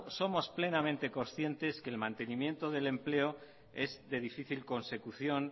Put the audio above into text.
somos plenamente conscientes que el mantenimiento del empleo es de difícil consecución